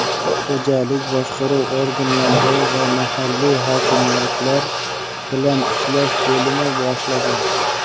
Xo‘jalik boshqaruv organlari va mahalliy hokimliklar bilan ishlash bo‘limi boshlig‘i.